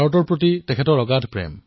ভাৰতৰ প্ৰতি তেওঁৰ প্ৰেম অগাধ